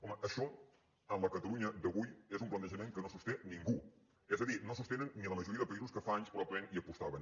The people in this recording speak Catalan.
home això en la catalunya d’avui és un plantejament que no sosté ningú és a dir no el sostenen ni la majoria de països que fa anys probablement hi apostaven